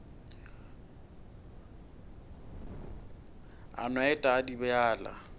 a no et a dibjalwa